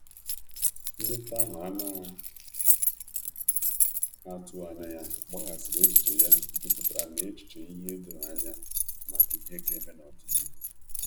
Nleta ahu ana atughi anya ya gbaghasiri echiche ya juputara na echiche ihe edoghi anya maka ihe ga-eme n'odịnihu